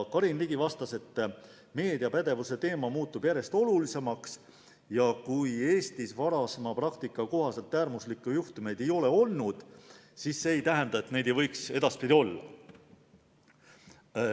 Karin Ligi vastas, et meediapädevuse teema muutub järjest olulisemaks ja see, et Eestis varasema praktika kohaselt äärmuslikke juhtumeid ei ole olnud, ei tähenda, et neid ei võiks edaspidi tulla.